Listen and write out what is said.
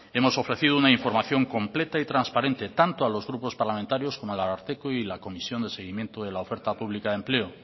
hemos ofrecido una información completa y transparente tanto a los grupos parlamentarios como al ararteko y a la comisión de seguimiento de la oferta pública de empleo